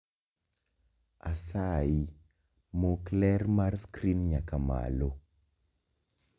Asayi mok ler mar skrin nyaka malo